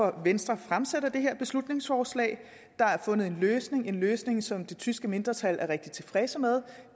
at venstre fremsætter det beslutningsforslag der er fundet en løsning løsning som det tyske mindretal er rigtig godt tilfreds med